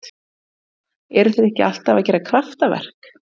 Já eru þeir ekki alltaf að gera kraftaverk?